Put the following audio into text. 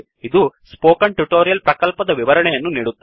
ಇದು ಈ spoken tutorial ಪ್ರಕಲ್ಪದ ವಿವರಣೆಯನ್ನು ನೀಡುತ್ತದೆ